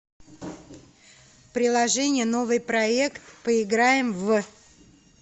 приложение новыйпроект поиграем в